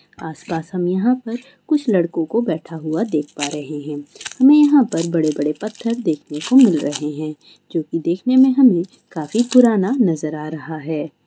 आस-पास हम यहाँ पर कुछ लड़को को बैठा हुआ देख पा रहे हैं हमे यहाँ पर बड़े-बड़े पत्थर देखने को मिल रहे हैं जो कि देखने में हमे काफी पुराना नजर आ रहा है।